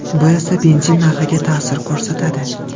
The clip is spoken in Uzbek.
Bu esa benzin narxiga ta’sir ko‘rsatadi.